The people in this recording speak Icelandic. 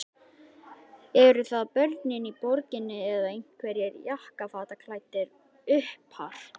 Eru það börnin í borginni eða einhverjir jakkafataklæddir uppar?